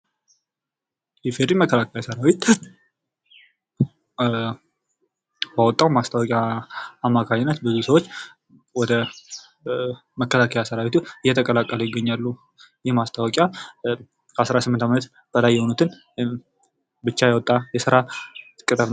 የኢፌድሪ መከላከያ ሰራዊት ባወጣዉ ማስታወቂያ አማካኝነት ብዙ ሰዎቸ ወደ መከላከያ ሰራዊቱ እየተቀላቀሉ ይገኛሉ። ይህ ማስታወቂያ ከ18 ዓመት በላይ የሆኑትን ብቻ ያወጣ የስራ ቅጥር ነዉ።